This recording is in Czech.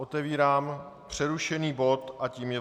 Otevírám přerušený bod a tím je